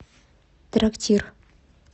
трактир